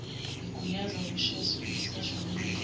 igunyaza ukuseshwa komuntu